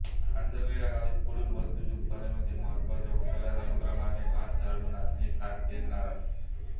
आंजर्ले ह्या गावी पुढील वस्तूंचे उत्पादन होते महत्त्वाच्या उतरत्या अनुक्रमाने भातझाडूनाचणीखाद्य तेलनारळ